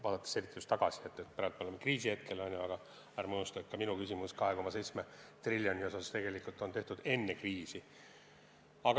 Vaadakem tagasi: praegu oleme kriisis, aga ärme unustame, et minu küsimus 2,7 triljoni kohta on tehtud enne kriisi.